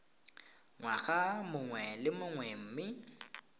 ngwaga mongwe le mongwe mme